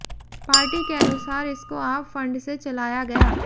party के अनुसार इसको आप फंड से चलाया गया